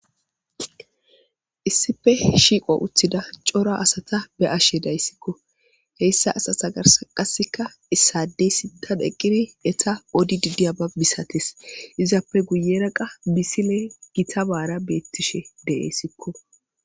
Issipe shiqo utida cora asata be'ashe daysiko hesa asata garsan issadey sinthan eqidi ets odidi diyaba masates izape guyera misiley gitabara betishe de'es